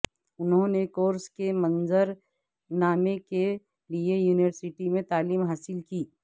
انہوں نے کورس کے منظر نامے کے لئے یونیورسٹی میں تعلیم حاصل کی